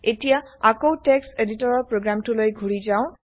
এতিয়া আকৌ টেক্সট্ এদিতৰৰ প্ৰগ্ৰেম টোলৈ ঘুৰি যাওঁ